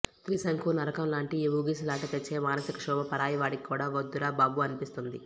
త్రిశంకు నరకంలాంటి ఆ ఊగిసలాట తెచ్చే మానసిక క్షోభ పరాయివాడికి కూడా వద్దురా బాబు అనిపిస్తుంది